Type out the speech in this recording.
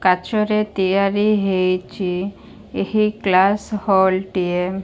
କାଚ ରେ ତିଆରି ହେଇଚି ଏହି ଗ୍ଲାସ ହୋଲ ଟିଏ।